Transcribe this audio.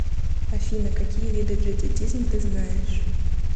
афина какие виды джадидизм ты знаешь